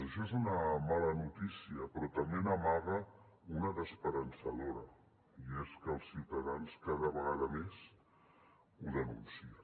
això és una mala notícia però també n’amaga una d’esperançadora i és que els ciutadans cada vegada més ho denuncien